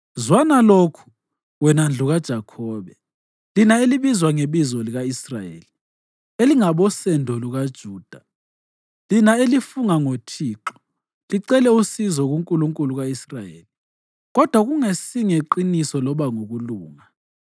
“Zwana lokhu, wena ndlu kaJakhobe, lina elibizwa ngebizo lika-Israyeli elingabosendo lukaJuda, lina elifunga ngoThixo, licele usizo kuNkulunkulu ka-Israyeli, kodwa kungasingeqiniso loba ngokulunga,